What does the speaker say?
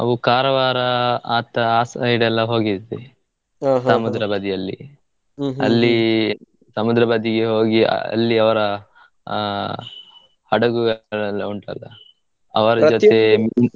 ನಾವು Karwar ಆ side ಎಲ್ಲಾ ಹೋಗಿದ್ವಿ ಬದಿಯಲ್ಲಿ ಸಮುದ್ರ ಬದಿಗೆ ಹೋಗಿ ಅಲ್ಲಿ ಅವರ ಆ ಹಡಗುಗಳೆಲ್ಲ ಉಂಟಲ್ಲಾ .